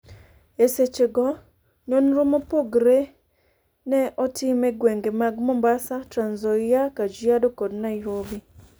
E seche go, nonro mopogre ne otim e gwenge mag Mombasa, Trans-Nzoia, Kajiado, kod Nairobi